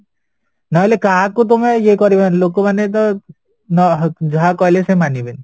ନହଲେ କାହାକୁ ତମେ ଇଏ କରିବନି ଲୋକମାନେତ ଯାହା କହିଲେବି ସେମାନିବେନି